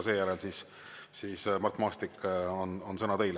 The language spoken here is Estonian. Seejärel, Mart Maastik, on sõna teil.